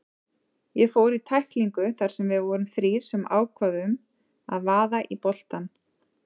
Ég fór í tæklingu þar sem við vorum þrír sem ákváðum að vaða í boltann.